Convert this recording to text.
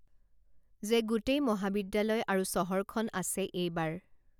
যে গোটেই মহাবিদ্যালয় আৰু চহৰখন আছে এইবাৰ